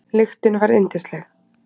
Lyktin var yndisleg.